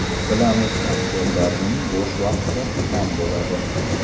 Bilamiz aktyorlarning bo‘sh vaqti kam bo‘ladi.